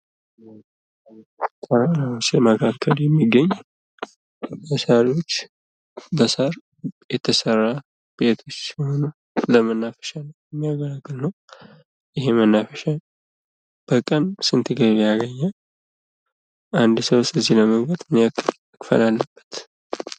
ተራራ ላይ ተሰርቶ የሚገኝ በሳሮች በሳር የተሰራ ቤቶች ሲሆኑ ለመናፈሻ የሚያገለግል ነው። ይህ መናፈሻ በቀን ስንት ገቢ ያገኛል? አንድ ሰውስ እዚህ ለመግባት ምን ያክል መክፈል አለበት?